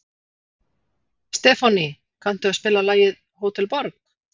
Stefánný, kanntu að spila lagið „Hótel Borg“?